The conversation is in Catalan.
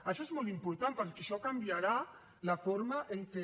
això és molt important perquè això canviarà la forma en què